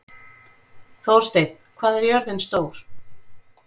Þórsteinn, hvað er jörðin stór?